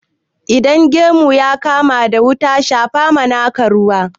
Idan gemun ka ya kama da wuta, ka shapa ma naka ruwa.